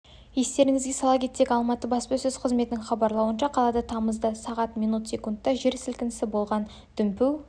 естеріңізге сала кетсек алматы баспасөз қызметінің хабарлауынша қалада тамызда сағат минут секундта жер сілкінісі болған дүмпу